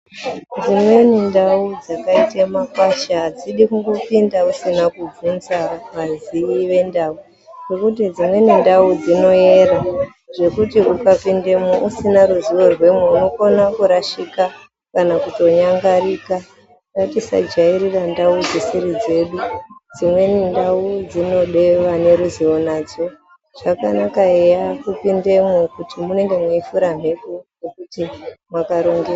Dzimweni ndau dzakaita makwasha adzidi kungopinda usina kubvunza vazii vendau, ngekuti dzimweni ndau dzinoera zvekuti ukapindamwo usina ruzivo rwemwo unokona kurashika kana kutonyangarika. Ngatisajairira ndau dzisiri dzedu. Dzimweni ndau dzinoda vane ruzivo nadzo. Zvakanaka eya kupindamwo kuti munenge mweifura mhepo ngekuti mwakaronge.